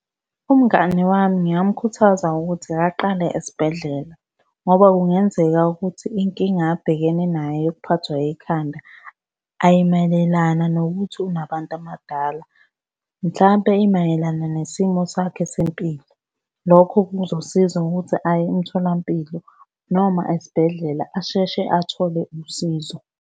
Umngani wami ngingamukhuthaza ukuthi akaqale esibhedlela, ngoba kungenzeka ukuthi inkinga abhekene nayo yokuphathwa yikhanda ayimayelana nokuthi unabantu abadala, mhlampe imayelana nesimo sakhe sempilo. Lokho kuzosiza ngokuthi aye emtholampilo noma esibhedlela asheshe athole usizo.